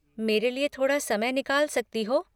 मेरे लिये थोड़ा समय निकाल सकती हो?